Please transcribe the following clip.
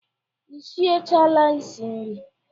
Ị sie chaala isi nri?